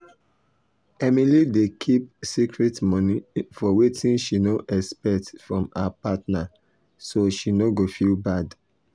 emily dey keep secret money for wetin she no expect from her partner so she no go feel bad.